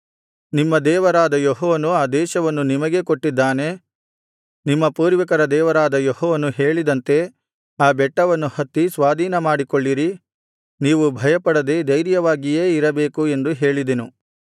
ನಿಮ್ಮ ದೇವರಾದ ಯೆಹೋವನು ಆ ದೇಶವನ್ನು ನಿಮಗೇ ಕೊಟ್ಟಿದ್ದಾನೆ ನಿಮ್ಮ ಪೂರ್ವಿಕರ ದೇವರಾದ ಯೆಹೋವನು ಹೇಳಿದಂತೆ ಆ ಬೆಟ್ಟವನ್ನು ಹತ್ತಿ ಸ್ವಾಧೀನಮಾಡಿಕೊಳ್ಳಿರಿ ನೀವು ಭಯಪಡದೆ ಧೈರ್ಯವಾಗಿಯೇ ಇರಬೇಕು ಎಂದು ಹೇಳಿದೆನು